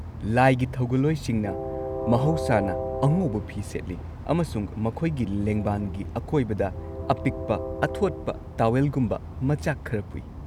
ꯂꯥꯏꯒꯤ ꯊꯧꯒꯜꯂꯣꯏꯁꯤꯡꯅ ꯃꯍꯧꯁꯥꯅ ꯑꯉꯧꯕ ꯐꯤ ꯁꯦꯠꯂꯤ ꯑꯃꯁꯨꯡ ꯃꯈꯣꯏꯒꯤ ꯂꯦꯡꯕꯥꯟꯒꯤ ꯑꯀꯣꯏꯕꯗ ꯑꯄꯤꯛꯄ ꯑꯊꯣꯠꯄ-ꯇꯥꯋꯦꯜꯒꯨꯝꯕ ꯃꯆꯥꯛ ꯈꯔ ꯄꯨꯏ꯫